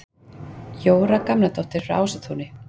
Jóra Gamladóttir frá Ásatúni